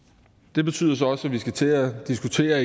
det betyder så også at vi igen skal til at diskutere